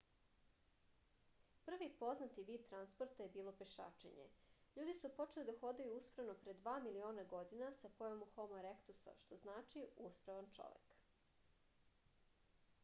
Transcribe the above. први познати вид транспорта је било пешачење. људи су почели да ходају усправно пре 2 милиона година са појавом homo erectus-а што значи усправан човек